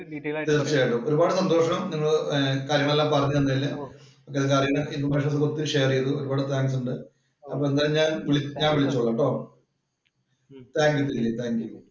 തീർച്ചയായിട്ടും ഒരുപാട് സന്തോഷം നിങ്ങളെ കാര്യങ്ങളെല്ലാം പറഞ്ഞു തന്നതിന്. ഒരു പാട് ഷെയര്‍ ചെയ്തു. ഒരുപാട് താങ്ക്സ് ഉണ്ട്. എന്തായാലും ഞാന്‍ വിളിച്ചോളാം ട്ടോ. Thank you thank you